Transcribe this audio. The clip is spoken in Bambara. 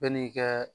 Bɛɛ n'i ka